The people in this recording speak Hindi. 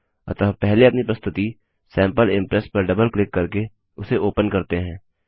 अतः पहले अपनी प्रस्तुति सैंपल इम्प्रेस पर डबल क्लिक करके उसे ओपन करते हैं